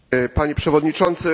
Panie Przewodniczący!